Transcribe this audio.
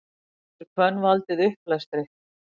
getur hvönn valdið uppblæstri